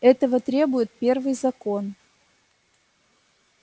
этого требует первый закон